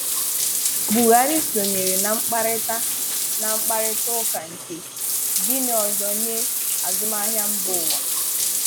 Buhárị sọnyeere na mkparịta na mkparịta ụka nke 'Gịnị Ọzọ nye Azụmáhịa Mbaụwa?